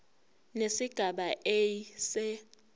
nesigaba a se